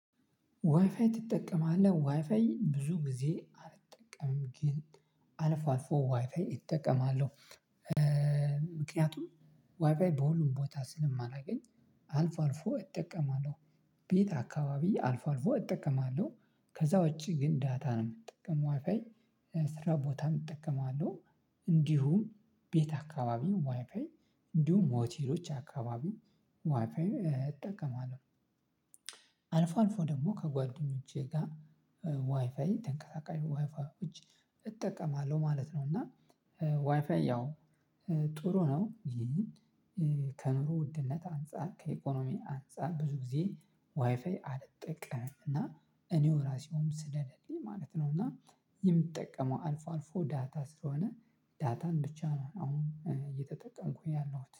ዋይፋይ ትጠቀማለህ? ዋይፋይ ብዙ ጊዜ አልጠቀምም ግን አልፎ አልፎ ዋይፋይ እጠቀማለሁ። ምክንያቱም ዋይፋይ በሁሉም ቦታ ስለማላገኝ አልፎ አልፎ እጠቀማለሁ። ቤት አካባቢ አልፎ አልፎ እጠቀማለሁ ከዛ ውጪ ግን ዳታ ነው የምጠቀመው ዋይፋይ ስራ ቦታም እጠቀማለሁ እንዲሁም ቤት አካባቢ ነው ዋይፋይ እንዲሁም ሆቴሎች አካባቢ ዋይፋይም እጠቀማለሁ። አልፎ አልፎ ደግሞ ከጓደኞቼ ጋር ዋይፋይ ተንቀሳቃሽ ዋይፋይ እጠቀማለሁ ማለት ነው እና ዋይፋይ ያው ጥሩ ነው። ከኑሮ ውድነት አንፃር ከኢኮኖሚ አንፃር ብዙ ጊዜ ዋይፋይ አልጠቀምም እና እኔው ራሴውም ስለሌለልኝ ማለት ነው እና የምጠቀመው አልፎ አልፎ ዳታ ስለሆነ ዳታን ብቻ ነው አሁን እየተጠቀምኩኝ ያለሁት